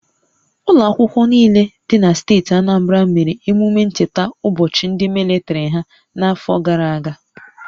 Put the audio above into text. Ụlọ akwụkwọ niile dị na steeti Anambra mere emume ncheta ụbọchị ndị malitere ha n'afọ gara aga